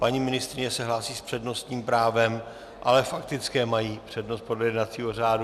Paní ministryně se hlásí s přednostním právem, ale faktické mají přednost podle jednacího řádu.